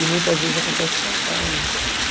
E muitas vezes acontece o contrário, né?